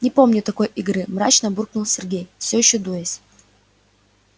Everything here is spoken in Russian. не помню такой игры мрачно буркнул сергей всё ещё дуясь